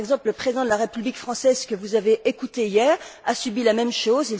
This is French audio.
Par exemple, le président de la République française que vous avez écouté hier a subi la même chose.